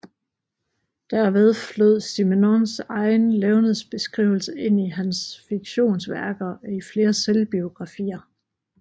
Derved flød Simenons egen levnedsbeskrivelse ind i hans fiktionsværker og i flere selvbiografier